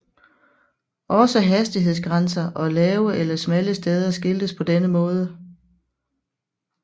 Også hastighedsgrænser og lave eller smalle steder skiltes på denne måde